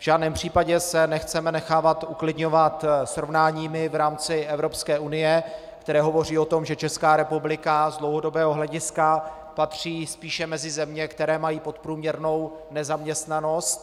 V žádném případě se nechceme nechávat uklidňovat srovnáními v rámci Evropské unie, která hovoří o tom, že Česká republika z dlouhodobého hlediska patří spíše mezi země, které mají podprůměrnou nezaměstnanost.